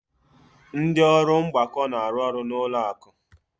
Ndị ọrụ mgbakọ na-arụ ọrụ n'ụlọ akụ.